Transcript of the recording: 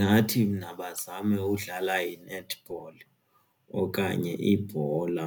Ndingathi mna bazame udlala i-netball okanye ibhola